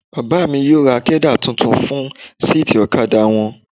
Bàbá mi yóò ra kẹ́dà tuntun fún síìtì ọ̀kadà wọn.